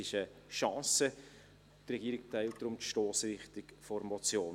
Die Regierung teilt deshalb die Stossrichtung der Motion.